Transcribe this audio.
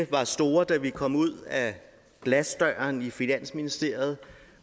var store da vi kom ud ad glasdøren i finansministeriet